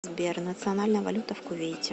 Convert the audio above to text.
сбер национальная валюта в кувейте